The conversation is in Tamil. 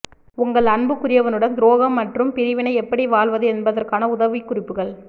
உங்கள் அன்புக்குரியவனுடன் துரோகம் மற்றும் பிரிவினை எப்படி வாழ்வது என்பதற்கான உதவிக்குறிப்புகள்